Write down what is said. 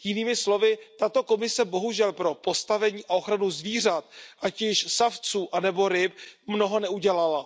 Jinými slovy, tato Komise bohužel pro postavení a ochranu zvířat, ať již savců nebo ryb, mnoho neudělala.